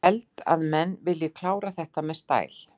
Ég held að menn vilji klára þetta með stæl.